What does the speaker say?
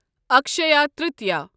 Akshaya Tritiya